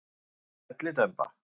Það er komin hellidemba.